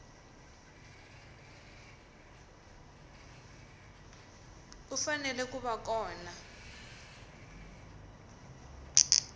u fanele ku va kona